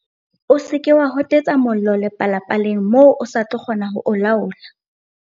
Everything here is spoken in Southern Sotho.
O se ke wa hotetsa mollo le palapaleng moo o sa tlo kgona ho o laola.